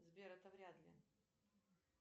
сбер это вряд ли